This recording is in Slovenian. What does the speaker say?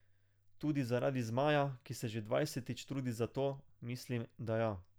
Tudi zaradi Zmaja, ki se že dvajsetič trudi za to, mislim, da ja.